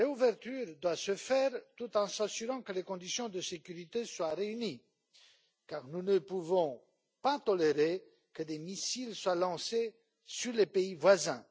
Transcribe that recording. Cette réouverture doit se faire tout en s'assurant que les conditions de sécurité sont réunies car nous ne pouvons pas tolérer que des missiles soient lancés sur les pays voisins.